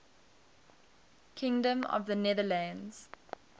kingdom of the netherlands